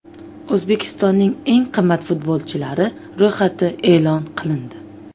O‘zbekistonning eng qimmat futbolchilari ro‘yxati e’lon qilindi.